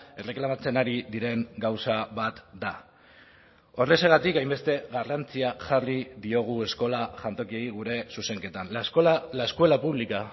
erreklamatzen ari diren gauza bat da horrexegatik hainbeste garrantzia jarri diogu eskola jantokiei gure zuzenketan la escuela pública